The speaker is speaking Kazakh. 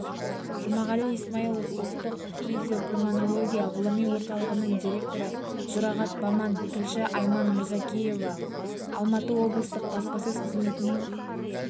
жұмағали исмаилов ұлттық фтизиопульмонология ғылыми орталығының директоры жұрағат баман тілші айман мырзекова алматы облыстық баспасөз қызметінің